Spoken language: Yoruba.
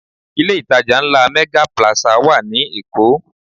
Ilé ìtajà ńlá Mega Plaza wà ní Èkó